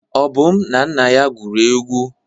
Obum na nna ya gwuru egwu.